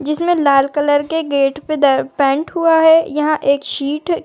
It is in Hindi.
जिसमें लाल कलर के गेट पे पेंट हुआ है। यहाँ एक सीट --